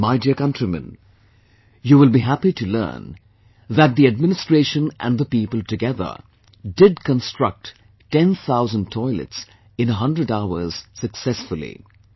And my Dear Countrymen, you will be happy to learn that the administration and the people together did construct 10,000 toilets in hundred hours successfully